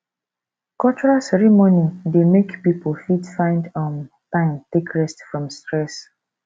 cultural ceremony dey make pipo fit find um time take rest from stress